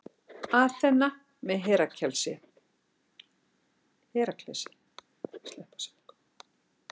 Aþena með Heraklesi.